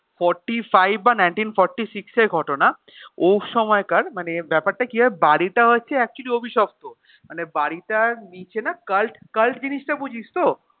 forty five বা nineteen forty six এর ঘটনা ওই সময়কার মানে ব্যাপারটা কি হয় বাড়িটা হচ্ছে actually অভিশপ্ত মানে বাড়িটার নিচে না কাল্ট কাল্ট জিনিসটা বুঝিস তো